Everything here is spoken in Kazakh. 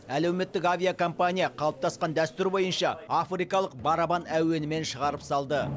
әлеуметтік авиакомпания қалыптасқан дәстүр бойынша африкалық барабан әуенімен шығарып салды